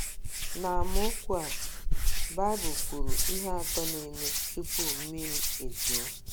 N’amaokwu a, Baịbụl kwuru ihe atọ na - eme tupu mmiri ezoo.